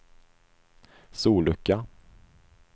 sollucka